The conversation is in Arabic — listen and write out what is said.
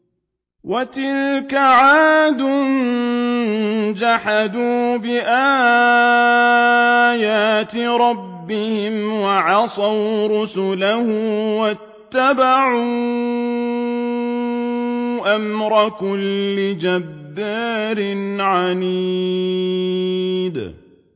وَتِلْكَ عَادٌ ۖ جَحَدُوا بِآيَاتِ رَبِّهِمْ وَعَصَوْا رُسُلَهُ وَاتَّبَعُوا أَمْرَ كُلِّ جَبَّارٍ عَنِيدٍ